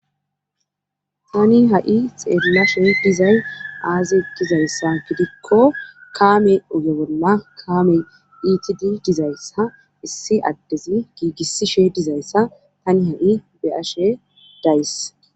tani ha7i xeellashe dizay aazi gizayssa fidikko kaame ogewolma kaamey iitidi dizayssa issi addezi giigissishe dizayssa tani hai beyashe days